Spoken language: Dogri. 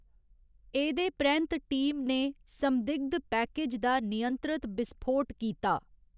एह्‌‌‌दे परैंत्त टीम ने संदिग्ध पैकेज दा नियंत्रत बिसफोट कीता।